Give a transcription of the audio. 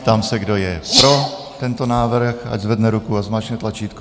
Ptám se, kdo je pro tento návrh, ať zvedne ruku a zmáčkne tlačítko.